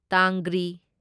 ꯇꯥꯡꯒ꯭ꯔꯤ